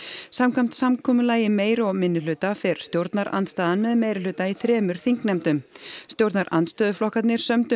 samkvæmt samkomulagi meiri og minnihluta fer stjórnarandstaðan með meirihluta í þremur þingnefndum stjórnarandstöðuflokkarnir sömdu